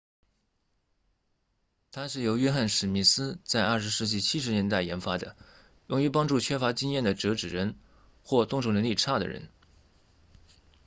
它是由约翰•史密斯 john smith 在20世纪70年代研发的用于帮助缺乏经验的折纸人或动手能力差的人